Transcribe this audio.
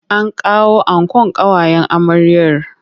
An kawo ankon ƙawayen amryar.